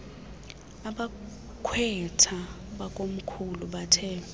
abakhweetha bakomkhulu bathe